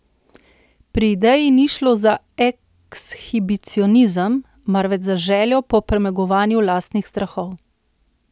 Pri ideji ni šlo za ekshibicionizem, marveč za željo po premagovanju lastnih strahov.